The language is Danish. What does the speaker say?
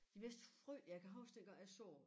De mest frø jeg kan huske dengang jeg så